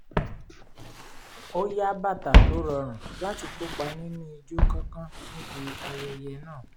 ó yá bàtà tó rọrùn láti kópa nínú ijó kánkán níbi ayẹyẹ náà